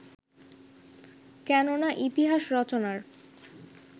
কেননা ইতিহাস রচনার